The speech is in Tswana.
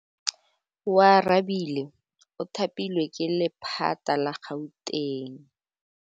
Oarabile o thapilwe ke lephata la Gauteng.